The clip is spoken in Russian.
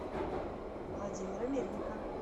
владимира мельника